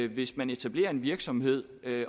hvis man etablerer en virksomhed